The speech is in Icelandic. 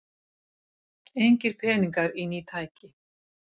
Engir peningar í ný tæki